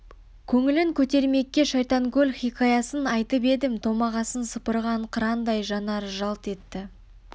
көңілін көтермекке шайтанкөл хикаясын айтып едім томағасын сыпырған қырандай жанары жалт етті